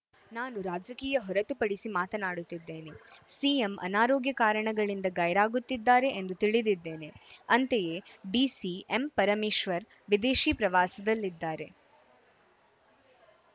ನಾನು ರಾಜಕೀಯ ಹೊರತುಪಡಿಸಿ ಮಾತನಾಡುತ್ತಿದ್ದೇನೆ ಸಿಎಂ ಅನಾರೋಗ್ಯ ಕಾರಣಗಳಿಂದ ಗೈರಾಗುತ್ತಿದ್ದಾರೆ ಎಂದು ತಿಳಿದಿದ್ದೇನೆ ಅಂತೆಯೇ ಡಿಸಿಎಂ ಪರಮೇಶ್ವರ್‌ ವಿದೇಶಿ ಪ್ರವಾಸದಲ್ಲಿದ್ದಾರೆ